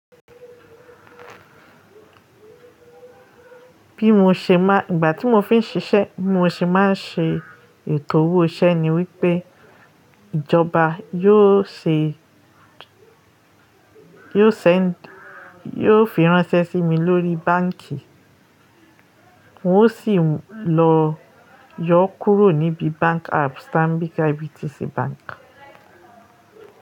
Bí mo ṣe má, ìgbà tí mo fi ń ṣiṣẹ́, bí mo ṣe má ń ṣe ètò owó iṣẹ́ ni wípé ìjọba yóò ṣe, yóò send, yóò fi ránṣẹ́ sí mi lórí báǹkì, n ó sì lọ yọ kúrò níbi Bank apps Stanbic IBTC Bank.